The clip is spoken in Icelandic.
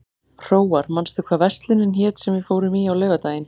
Hróar, manstu hvað verslunin hét sem við fórum í á laugardaginn?